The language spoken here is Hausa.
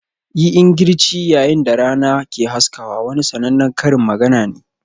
"Yi ingirci yayin da rana ke haskawa" wani sannanen Karin magana ne.